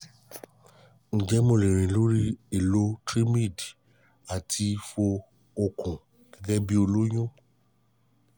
ǹjẹ́ mo lè rìn lórí èlò trimid àti fo okùn gẹ́gẹ́ bí olóyún?